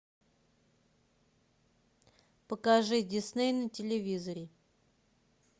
покажи дисней на телевизоре